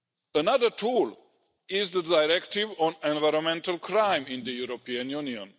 Another tool is the Directive on Environmental Crime in the European Union.